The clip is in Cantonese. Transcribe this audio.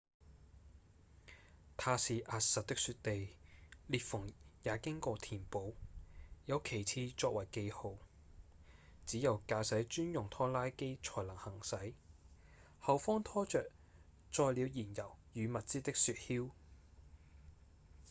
它是壓實的雪地裂縫也經過填補有旗幟作為記號只有駕駛專用拖拉機才能行駛後方拖著載了燃油與物資的雪橇